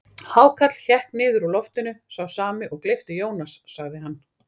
Hákarl hékk niður úr loftinu, sá sami og gleypti Jónas, sagði hann.